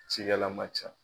Cikɛla man ca.